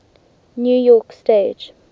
new york stage